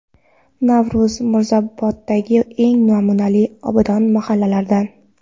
Navro‘z Mirzaoboddagi eng namunali, obod mahallalardan.